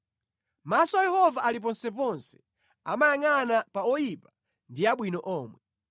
Maso a Yehova ali ponseponse, amayangʼana pa oyipa ndi abwino omwe.